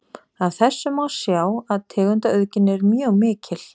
Af þessu má sjá að tegundaauðgin er mjög mikil.